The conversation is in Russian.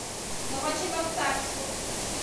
новочебоксарску